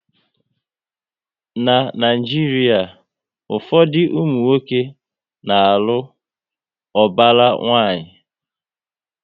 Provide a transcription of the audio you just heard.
Na Naijiria, ụfọdụ ụmụnwoke na alụ ubara nwanyi